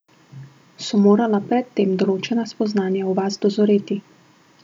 So morala pred tem določena spoznanja v vas dozoreti?